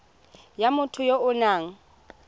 ya motho ya o nang